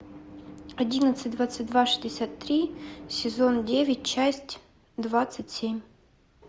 одиннадцать двадцать два шестьдесят три сезон девять часть двадцать семь